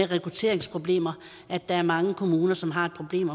rekrutteringsproblemer der er mange kommuner som har et problem